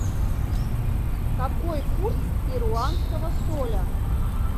какой курс перуанского соля